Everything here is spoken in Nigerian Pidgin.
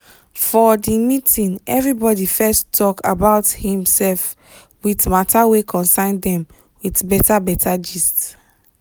for the meeting everybody fess talk about him sef with mata wey concern dem with beta beta gist